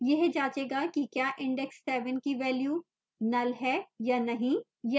यह जाँचेगा कि क्या index seven की value null है या नहीं